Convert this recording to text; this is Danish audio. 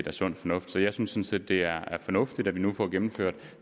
er sund fornuft så jeg synes sådan set det er fornuftigt at vi nu får gennemført